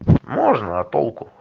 можно а толку